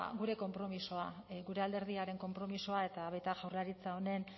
gure konpromisoa gure alderdiaren konpromisoa eta baita jaurlaritza honen